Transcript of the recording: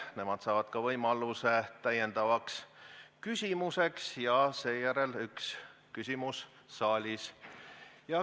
Nemad saavad ka võimaluse täiendavaks küsimuseks ja seejärel on üks küsimus saalist.